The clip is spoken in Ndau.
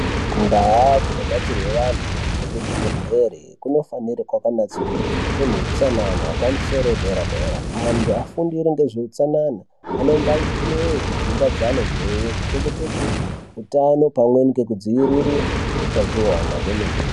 Ndaa dzinobatsirwe vanhu ngekuzvibhehleri kunofanire kwakanatsurudzwa kune hutsanana hwepamusoro wedera-dera antu afundire ngezveutsanana anombaiteyo kudzimba dzaanobveyo kuchengetedze utano pamweni ngekudziirire utachiwana kwemene.